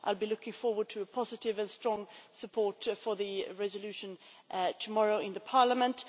I will be looking forward to a positive and strong support for the resolution tomorrow in Parliament.